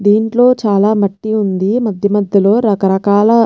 దీంట్లో చాలా మట్టి ఉంది మధ్య మధ్యలో రకరకాల --